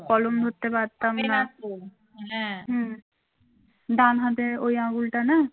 ডান হাতের ওই আঙুলটা না